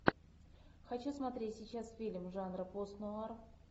хочу смотреть сейчас фильм жанра постнуар